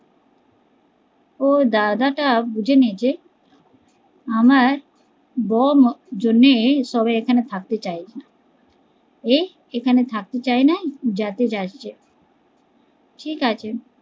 ও দাদা টা বুঝে নি যে আমার বৌ জন্যই সবাই এখানে থাকতে চায় না, এ এখানে থাকতে চায় না যেতে চাইছে, ঠিকাছে